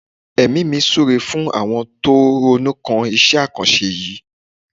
Èmi mi súre fún àwọn tó ronú kan iṣẹ́ àkànṣe yìí.